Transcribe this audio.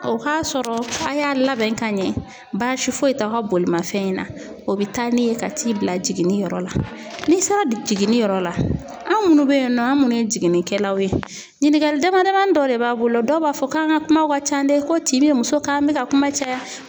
O ka sɔrɔ a y'a labɛn ka ɲɛ ,basi foyi t'aw ka bolimafɛn in na. O be taa n'i ye ka t'i bila jiginniyɔrɔ la, ni sera jiginni yɔrɔ la an munnu be yen nɔ an munnu ye jiginnikɛlaw ye, ɲininkali damadamanin dɔ de b'an bolo dɔ b'a fɔ k'an ka kumaw ka ca dɛ ko tin bɛ muso k'an bɛ ka kuma caya.